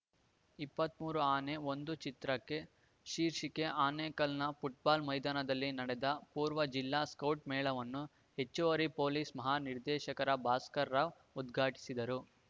ಇಪ್ಪತ್ತ್ ಮೂರು ಆನೆ ಒಂದು ಚಿತ್ರಕ್ಕೆ ರ್ಶೀಕೆ ಆನೇಕಲ್‌ನ ಫುಟ್‌ಬಾಲ್‌ ಮೈದಾನದಲ್ಲಿ ನಡೆದ ಪೂರ್ವ ಜಿಲ್ಲಾ ಸ್ಕೌಟ್‌ ಮೇಳವನ್ನು ಹೆಚ್ಚುವರಿ ಪೊಲೀಸ್‌ ಮಹಾ ನಿರ್ದೇಶಕ ಭಾಸ್ಕರ್‌ರಾವ್‌ ಉದ್ಘಾಟಿಸಿದರು